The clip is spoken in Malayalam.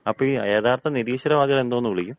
അപ്പൊ ഈ യഥാർത്ഥ നിരീശ്വര വാദികളെ എന്തോന്ന് വിളിക്കും?